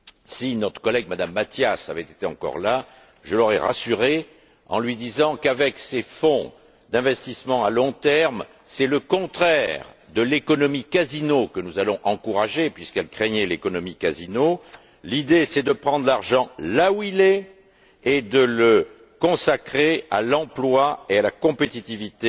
Si notre collègue, Mme Matias, avait été encore là, je l'aurais rassurée en lui disant qu'avec ces fonds d'investissement à long terme, c'est le contraire de l'économie casino que nous allons encourager puisqu'elle craignait l'économie casino. L'idée, c'est de prendre l'argent là où il est et de le consacrer à l'emploi et à la compétitivité